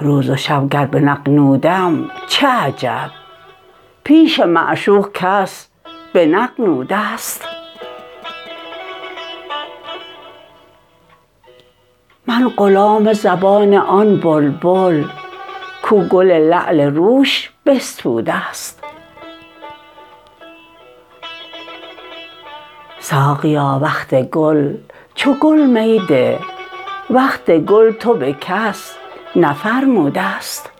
روز و شب گر بنغنوم چه عجب پیش معشوق کس بنغنودست من غلام زبان آن بلبل کو گل لعل روش بستودست ساقیا وقت گل چو گل می ده وقت گل تو به کس نفرمودست